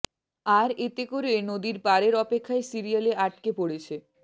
আর এতে করে নদীর পারের অপেক্ষায় সিরিয়ালে আটকা পড়েছে